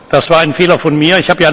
Das war ein Fehler von mir.